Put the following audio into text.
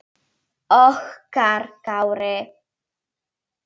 Okkar Kári.